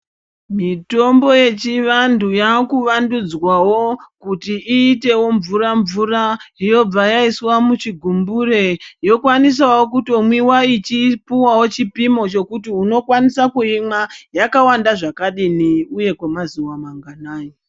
Mitombo yechivandu yakuvandudzwawo kuti iyitewo mvura-mvura, yobva yaiswa muchigumbure yokwanisawo kutomwiwa ichipiwawo chipimo chokuti unokwanisa kuyimwa yakawanda zvakadini uye kwemazuwa manganayi.